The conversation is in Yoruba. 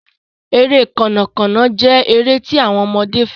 Ere Kànnà Kànnà jé èrè tí àwọn ọmọdé féràn.